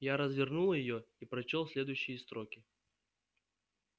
я развернул её и прочёл следующие строки